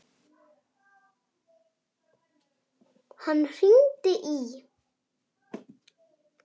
Hann hringdi í